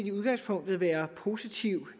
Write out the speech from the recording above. i udgangspunktet være positiv